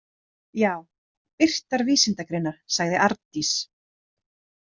Já, birtar vísindagreinar, sagði Arndís.